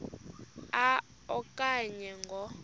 a okanye ngo